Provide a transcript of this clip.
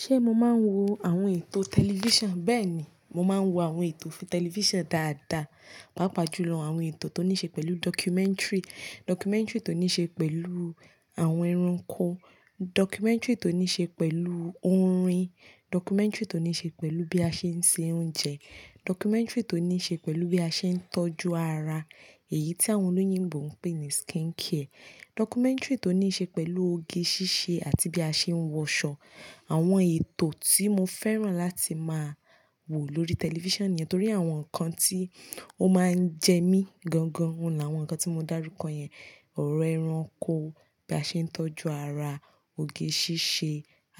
Ṣé mo máa ń wo àwọn ètò tẹlifíṣàn? Bẹ́ẹ̀ ni, mo máa ń wo àwọn ètò fún tẹlifíṣàn dáadáa, pàápàá jùlọ àwọn ètò tó ní ṣe pẹ̀lú documentary. Documentary tó ní ṣe pẹ̀lú àwọn ẹranko, documentary tó ní ṣe pẹ̀lú orin, documentary tó ní ṣe pẹ̀lú bí a ṣe ń se oúnjẹ, documentary tó ní ṣe pẹ̀lú bí a ṣe ń tọ́jú ara, èyí tí àwọn olóyìnbo ń pè ní skincare, documentary tó ní ṣe pẹ̀lú oge ṣíṣe àti bí a ṣe ń wọṣọ. Àwọn ètò tí mo fẹ́ràn láti máa wo lórí tẹlifíṣàn nìyẹn, torí àwọn nǹkan tí ó máa ń jẹ mí gan gan, ó láwọn nǹkan tí mo dárúkọ yẹn. Ọ̀rọ̀ ẹranko, bí a ṣe ń tọ́jú ara, òge ṣíṣe,